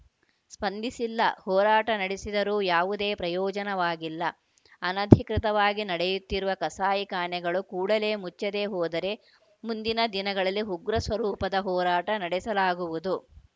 ಸ್ಪಂದಿಸಿಲ್ಲ ಹೋರಾಟ ನಡೆಸಿದರೂ ಯಾವುದೇ ಪ್ರಯೋಜನವಾಗಿಲ್ಲ ಅನಧಿಕೃತವಾಗಿ ನಡೆಯುತ್ತಿರುವ ಕಸಾಯಿಖಾನೆಗಳು ಕೂಡಲೇ ಮುಚ್ಚದೆ ಹೋದರೆ ಮುಂದಿನ ದಿನಗಳಲ್ಲಿ ಉಗ್ರ ಸ್ವರೂಪದ ಹೋರಾಟ ನಡೆಸಲಾಗುವುದು